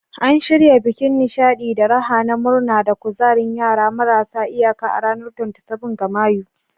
An shirya bikin nishadi da raha na murna da kuzarin yara marasa iyaka a ranar 27 ga Mayu.